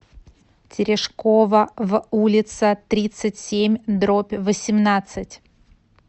терешкова в улица тридцать семь дробь восемнадцать